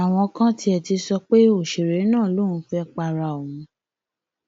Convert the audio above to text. àwọn kan tiẹ ti ń sọ pé òṣèré náà lòun fẹẹ pa ara òun